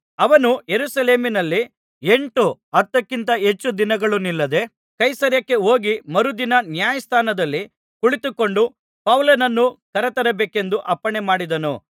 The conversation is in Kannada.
ಅವನು ಯೆರುಸಲೇಮಿನಲ್ಲಿ ಎಂಟು ಹತ್ತಕ್ಕಿಂತ ಹೆಚ್ಚು ದಿನಗಳು ನಿಲ್ಲದೆ ಕೈಸರೈಯಕ್ಕೆ ಹೋಗಿ ಮರುದಿನ ನ್ಯಾಯಸ್ಥಾನದಲ್ಲಿ ಕುಳಿತುಕೊಂಡು ಪೌಲನನ್ನು ಕರತರಬೇಕೆಂದು ಅಪ್ಪಣೆಮಾಡಿದನು